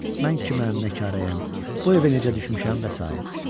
Mən kiməm, nəkarəyəm, bu evə necə düşmüşəm və sair.